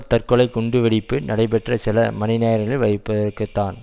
தற்கொலை குண்டு வெடிப்பு நடைபெற்ற சில மணிநேரங்களில் வைப்பதற்குத்தான்